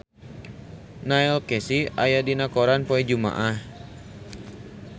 Neil Casey aya dina koran poe Jumaah